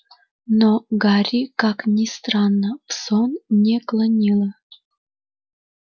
но гарри как ни странно в сон не клонило